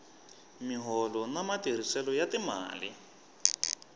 miholo na matirhiselo ya timali